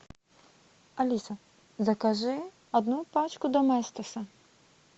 алиса закажи одну пачку доместоса